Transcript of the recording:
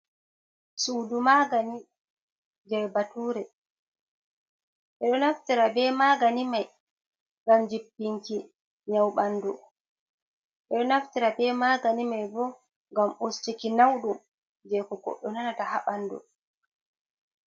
Suudu magani je batuure. Ɓe ɗo naftira be magani mai, ngam jippinki nyawu ɓandu. Ɓe ɗo naftira be magani mai bo, ngam ustuki nauɗum je ko goɗɗo nanata haa ɓandu.